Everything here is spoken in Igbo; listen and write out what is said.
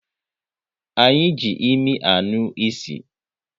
Anyị ji imi anụ ịsị